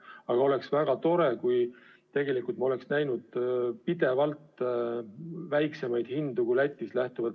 Aga oleks väga tore, kui me oleks tegelikult näinud pidevalt madalamaid hindu kui Lätis.